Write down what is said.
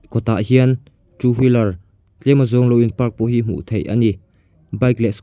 kawtah hian two wheeler tlem a zawng lo in park pawh hi hmuh theih ani bike leh scoo--